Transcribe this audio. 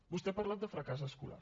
vostè ha parlat de fracàs escolar